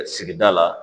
Sigida la